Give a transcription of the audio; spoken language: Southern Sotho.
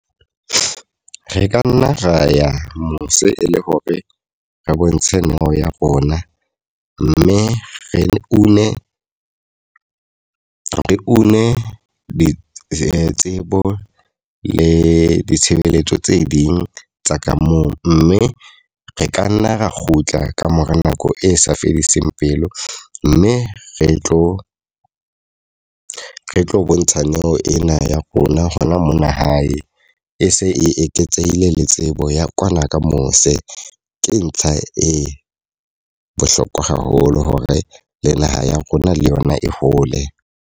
Re ka nna ra ya mose e le hore re bontshe neo ya rona. Mme re une re une ditsebo le ditshebeletso tse ding tsa ka moo. Mme re ka nna ra kgutla ka mora nako e sa fediseng pelo. Mme re tlo re tlo bontsha neo ena ya rona ho na mona hae e se e eketsehile le tsebo ya kwana ka mose. Ke ntlha e bohlokwa haholo hore le naha ya rona le yona e hole.